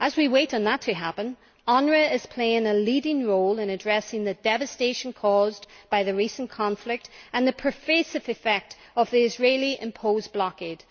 As we wait for that to happen, UNRWA is playing a leading role in addressing the devastation caused by the recent conflict and the pervasive effect of the Israeli imposed blockade.